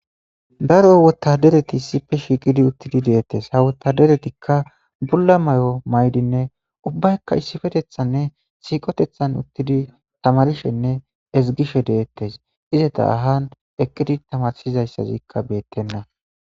Daro wotadereti sipe shiiqidi uttidi deettes hawotaderetikka bulla may7o maydinne ubbaykka issifetethanne siiqotethan uttidi tamarishenne ezigishe deettes ize ta ahan ekkidi tamarsizayssazikka beettenna.